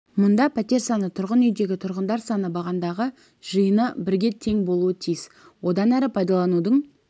мұнда пәтер саны тұрғын үйдегі тұрғындар саны бағандағы жиыны бірге тең болуы тиіс одан әрі пайдаланудың